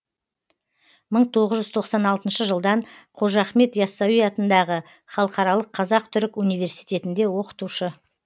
мың тоғыз жүз тоқсан алтыншы жылдан қожа ахмет йассауи атындағы халықаралық қазақ түрік университетінде оқытушы